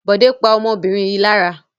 Bọ̀dé pa ọmọbìnrin yìí lára.